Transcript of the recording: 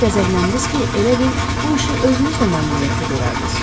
Elə qəzəbləndiniz ki, elə bil bu işi özünüz də məmnuniyyətlə görərdiniz.